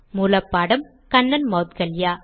மூல பாடம் கண்ணன் மௌத்கல்யா